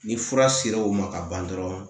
Ni fura sera o ma ka ban dɔrɔn